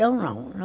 Eu não.